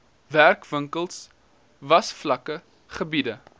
werkwinkels wasvakke gebiede